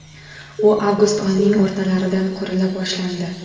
U avgust oyining o‘rtalaridan qurila boshlandi.